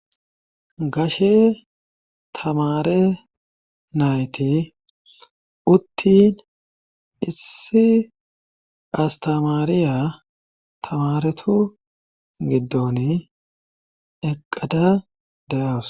gashe tamare nayti uttin issi astamaariya tamaretu giddon eqqada da7awus